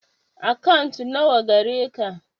Akant na wa gareka?